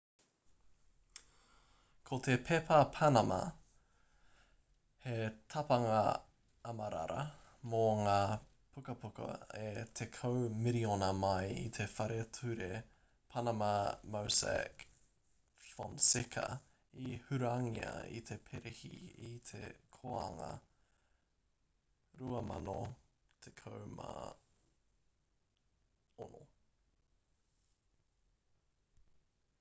ko te pepa panama he tapanga amarara mō ngā pukapuka e tekau miriona mai i te whare ture panama mossack fonseca i hurangia ki te perehi i te kōanga 2016